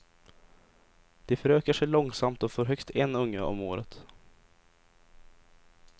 De förökar sig långsamt och får högst en unge om året.